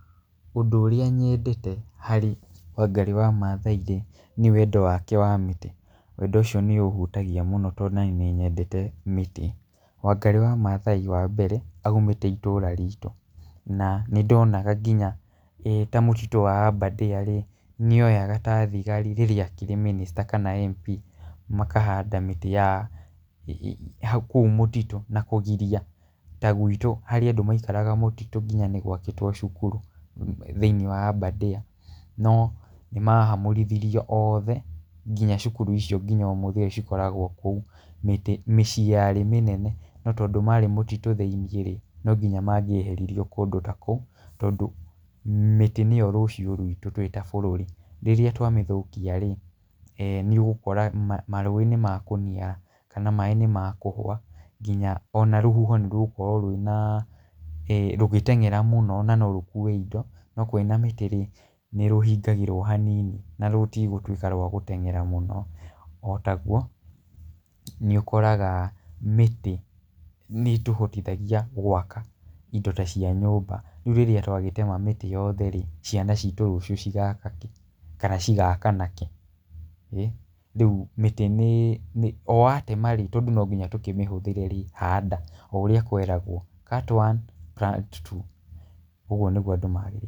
Ũndũ ũrĩa nyendete harĩ Wangari wa Maathai rĩ nĩ wendo wake wa mĩtĩ, wendo ũcio nĩũhutagia mũno tondũ ona niĩ nĩ nyendete mĩtĩ. Wangari wa Maathai wa mbere aumĩte itũũra ritũ na nĩ ndonaga nginya ta mũtitũ wa Aberdare rĩ, nĩ oyaga thigari rĩrĩa arĩ mĩnĩsta kana MP makahanda mĩtĩ ya kũu mũtitũ na kũgiria ta gwitũ harĩ andũ maikaraga mũtitũ na nĩgwakĩtwo nginya cukuru thĩinĩ wa Aberdare no nĩ mahamũrithiro oothe nginya curuku icio nginya ũmũthĩ ũyũ cikoragwo kuo, mĩciĩ yarĩ mĩnene no tondũ marĩ mũtitũ thĩinĩ-rĩ no nyinya mangĩeheririo kũndũ ta kũu tondũ mĩtĩ nĩo rũciũ rwitũ twĩ ta bũrũri rĩrĩa twa mĩthũkia rĩ eeh nĩũgũkora marũĩ nĩmekũniara kana maaĩ nĩmekũhwa nginya rũhuho nĩrũgũkorwo rwĩna rũgĩteng'era mũno na no rũkue indo no kwĩna mĩtĩ-rĩ nĩ rũhingagĩrwo hanini na rũtigũtwĩka rwa gũteng'era mũno, o tagũo nĩũkoraga mĩtĩ nĩtũhotithagia gwaka indo ta cia nyũmba rĩu rĩrĩa twagĩtema mĩtĩ yothe-rĩ ciana citũ rũciũ cigaka kĩ kana cigaka nakĩ ? Rĩu mĩtĩ nĩ o watema-rĩ tondũ nongiya tũkĩmĩhũthĩrerĩ handa o ũrĩa kweragwo cut one plant two ũguo nĩguo andũ magĩrĩirwo.